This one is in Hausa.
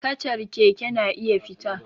Kacar keke na iya fita